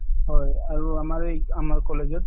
হয়, আৰু আমাৰ এই আমাৰ college ত